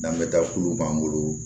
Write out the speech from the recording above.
N'an bɛ taa kulu b'an bolo